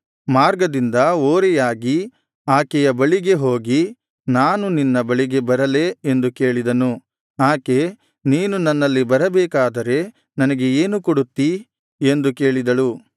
ಮಾರ್ಗದಿಂದ ಓರೆಯಾಗಿ ಆಕೆಯ ಬಳಿಗೆ ಹೋಗಿ ನಾನು ನಿನ್ನ ಬಳಿಗೆ ಬರಲೇ ಎಂದು ಕೇಳಿದನು ಆಕೆ ನೀನು ನನ್ನಲ್ಲಿ ಬರಬೇಕಾದರೆ ನನಗೆ ಏನು ಕೊಡುತ್ತೀ ಎಂದು ಕೇಳಿದಳು